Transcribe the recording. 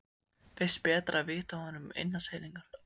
Finnst betra að vita af honum innan seilingar.